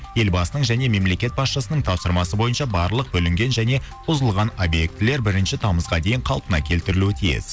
ел басының және мемлекет басшысының тапсырмасы бойынша барлық бүлінген және бұзылған объектілер бірінші тамызға дейін қалпына келтірілуі тиіс